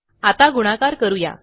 आता गुणाकार करू या